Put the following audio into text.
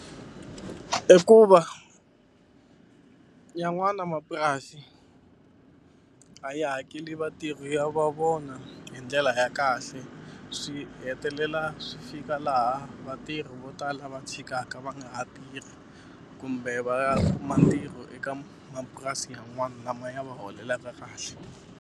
I ku va yan'wana mapurasi a ya hakeli vatirhi ya va vona hi ndlela ya kahle swi hetelela swi fika laha vatirhi vo tala va tshikaka va nga ha tirhi kumbe va ya kuma ntirho eka mapurasi yan'wani lama ya va holelaka kahle.